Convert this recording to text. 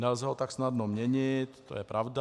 Nelze ho tak snadno měnit, to je pravda.